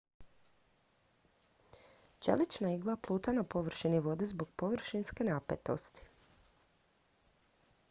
čelična igla pluta na površini vode zbog površinske napetosti